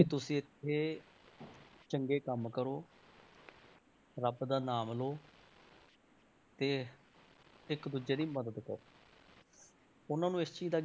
ਵੀ ਤੁਸੀਂ ਇੱਥੇ ਚੰਗੇ ਕੰਮ ਕਰੋ ਰੱਬ ਦਾ ਨਾਮ ਲਓ ਤੇ ਇੱਕ ਦੂਜੇ ਦੀ ਮਦਦ ਕਰੋ ਉਹਨਾਂ ਨੂੰ ਇਸ ਚੀਜ਼ ਦਾ,